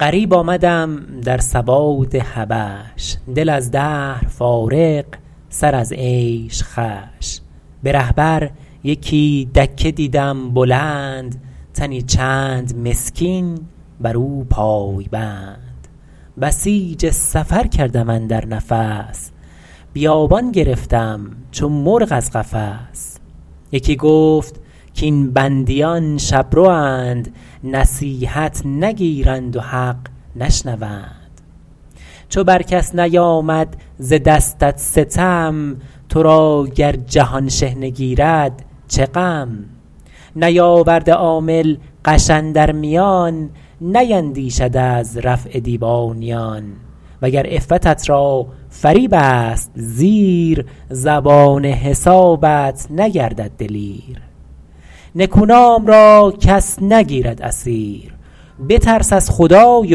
غریب آمدم در سواد حبش دل از دهر فارغ سر از عیش خوش به ره بر یکی دکه دیدم بلند تنی چند مسکین بر او پای بند بسیج سفر کردم اندر نفس بیابان گرفتم چو مرغ از قفس یکی گفت کاین بندیان شبروند نصیحت نگیرند و حق نشنوند چو بر کس نیامد ز دستت ستم تو را گر جهان شحنه گیرد چه غم نیاورده عامل غش اندر میان نیندیشد از رفع دیوانیان وگر عفتت را فریب است زیر زبان حسابت نگردد دلیر نکونام را کس نگیرد اسیر بترس از خدای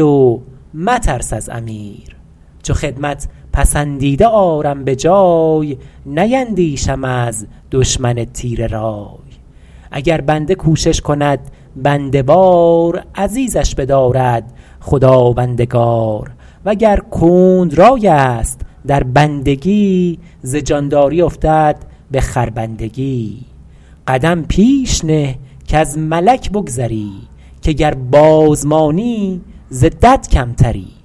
و مترس از امیر چو خدمت پسندیده آرم به جای نیندیشم از دشمن تیره رای اگر بنده کوشش کند بنده وار عزیزش بدارد خداوندگار وگر کند رای است در بندگی ز جانداری افتد به خربندگی قدم پیش نه کز ملک بگذری که گر باز مانی ز دد کمتری